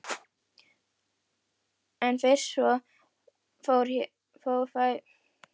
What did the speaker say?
En fyrst svona fór fæ ég mig ekki til þess.